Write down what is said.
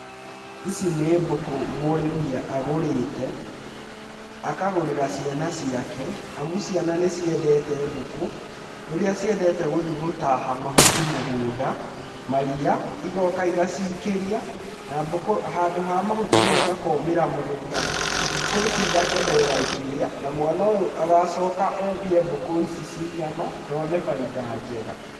Ici nĩ mbũkũ mũrĩmi agũrĩte, akagũrĩra ciana ciake, amu ciana nĩ ciendete mbũkũ, ũrĩa ciendete gũthiĩ gũtaaha mahuti mũgũnda, maria, ĩgoka igacikĩria na mbũkũ, handũ ha mahuti mau makomĩra mũgũnda ĩ, mbũkũ ici igakenerera ikĩrĩa na mwana ũyũ agacoka endie mbũkũ ici ci nyama na one bainda njega.